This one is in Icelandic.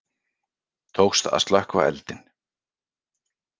Tókst að slökkva eldinn